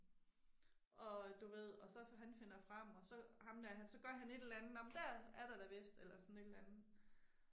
Og du ved og så han finder frem og så ham der han så gør et eller andet, nå men dér er der da vist eller sådan et eller andet